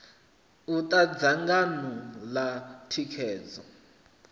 u ta dzangano ḽa thikhedzo